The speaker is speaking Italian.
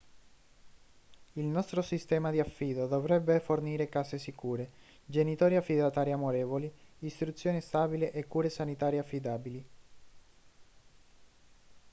il nostro sistema di affido dovrebbe fornire case sicure genitori affidatari amorevoli istruzione stabile e cure sanitarie affidabili